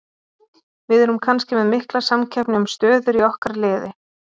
VIð erum kannski með mikla samkeppni um stöður í okkar liði.